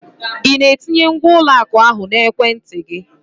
Ị na-etinye ngwa ụlọ akụ ahụ na ekwentị gị?